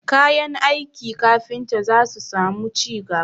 Kayan aiki kafinta za su samu ci gaba